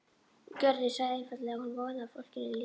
Gerður sagði einfaldlega að hún vonaði að fólkinu líkaði það.